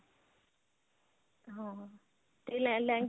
ਹਾਂ ਤੇ ਲਹਿੰਗੇ